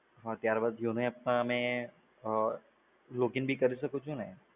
ત્યારબાદ YONO app સામે login પણ કરી શકું છું ને?